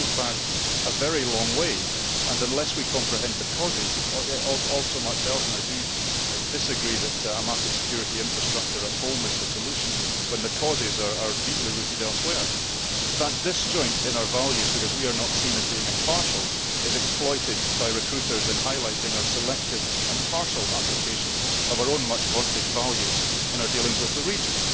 This goes back a very long way, and unless we comprehend the causes, and also much else and I disagree that a massive security infrastructure at home is the solution when the causes are deeply rooted elsewhere that disjoint in our values, because we are not seen as being impartial, is exploited by recruiters in highlighting our selective and partial application of our own much vaunted values in our dealings with the region.